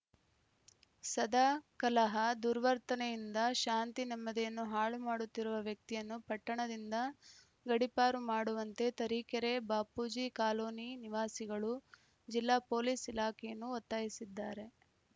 ಸದಾ ಕಲಹ ದುರ್ವರ್ತನೆಯಿಂದ ಶಾಂತಿ ನೆಮ್ಮದಿಯನ್ನು ಹಾಳು ಮಾಡುತ್ತಿರುವ ವ್ಯಕ್ತಿಯನ್ನು ಪಟ್ಟಣದಿಂದ ಗಡಿಪಾರು ಮಾಡುವಂತೆ ತರೀಕೆರೆ ಬಾಪೂಜಿ ಕಾಲೋನಿ ನಿವಾಸಿಗಳು ಜಿಲ್ಲಾ ಪೊಲೀಸ್‌ ಇಲಾಖೆಯನ್ನು ಒತ್ತಾಯಿಸಿದ್ದಾರೆ